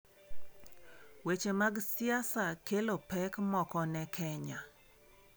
Weche mag siasa kelo pek moko ne Kenya